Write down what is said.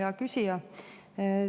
Hea küsija!